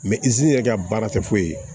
izini yɛrɛ ka baara tɛ foyi ye